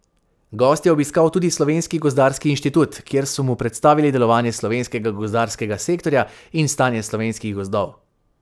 Gost je obiskal tudi Slovenski gozdarski inštitut, kjer so mu predstavili delovanje slovenskega gozdarskega sektorja in stanje slovenskih gozdov.